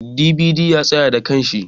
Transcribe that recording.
"DVD" ya tsaya da kanshi.